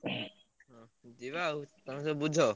ଯିବା ଆଉ ତମେ ସବୁ ବୁଝ।